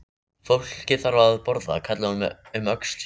Fólkið þarf að borða, kallaði hún um öxl sér.